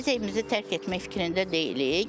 Yox, biz evimizi tərk etmək fikrində deyilik.